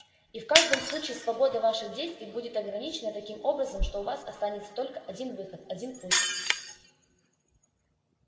и в каждом случае свобода ваших действий будет ограничена таким образом что у вас останется только один выход один путь